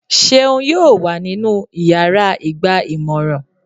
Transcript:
Ṣeún yóò wa ninú ìyára igba-imọrán